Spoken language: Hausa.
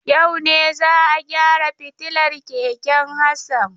Yau ne za a gyara fitilar keken Hassan.